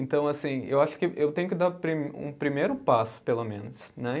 Então, assim, eu acho que eu tenho que dar pri, um primeiro passo, pelo menos, né?